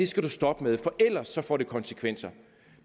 skal du stoppe med for ellers får det konsekvenser